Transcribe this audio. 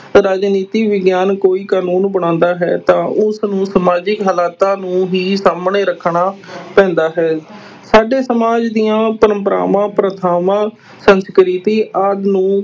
ਰਾਜਨੀਤੀ ਵਿਗਿਆਨ ਕੋਈ ਕਾਨੂੰਨ ਬਣਾਉਂਦਾ ਹੈ ਤਾਂ ਉਸਨੂੰ ਸਮਾਜਿਕ ਹਾਲਾਤਾਂ ਨੂੰ ਹੀ ਸਾਹਮਣੇ ਰੱਖਣਾ ਪੈਂਦਾ ਹੈ ਸਾਡੇ ਸਮਾਜ ਦੀਆਂ ਪਰੰਪਰਾਵਾਂ, ਪ੍ਰਥਾਵਾਂ, ਸੰਸਕ੍ਰਿਤੀ ਆਦਿ ਨੂੰ